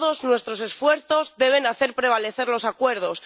Todos nuestros esfuerzos deben hacer prevalecer los acuerdos.